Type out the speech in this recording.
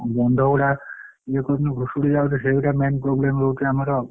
ବନ୍ଧଗୁଡା ଭୁଷୁଡି ଯାଉଛି ଆମର ସେଗୁଡାକ main problem ରହୁଛି ଆମର।